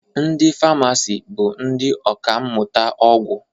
Ndị famasi bụ ndị ọkammụta ọgwụ